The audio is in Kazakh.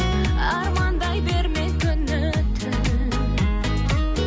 армандай берме күні түн